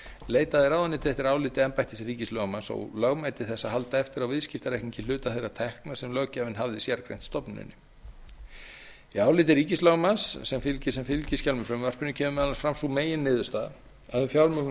leitaði ráðuneytið eftir áliti embættis ríkislögmanns og lögmæti þess að halda eftir á viðskiptareikningi hluta þeirra tekna sem löggjafinn hafði sérgreint stofnuninni í áliti ríkislögmanns sem fylgir sem fylgiskjal með frumvarpinu kemur meðal annars fram sú meginniðurstaða að um fjármögnuð